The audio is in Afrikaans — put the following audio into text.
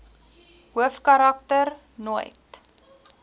hoofkarak ter nooit